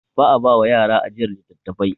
Ba a ba wa yara ajiyar littattafai.